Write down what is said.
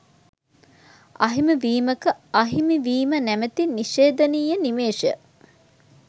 අහිමි වීමක අහිමිවීම නැමති නිශේධනීය නිමේෂය